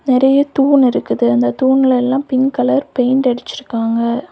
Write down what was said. நிறைய தூன் இருக்கு அந்த தூன்ல எல்லா பிங்க் கலர் பெயிண்ட் அடிச்சு இருக்காங்க.